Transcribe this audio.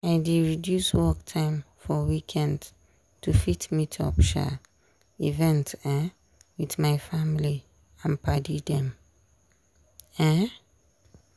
i dey reduce work time for weekends to fit meet up um events um with my family and padi dem. um